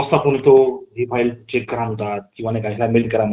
त्यामुळे काय मुले पण काय खूपशी आळशी झाली त्या मुळे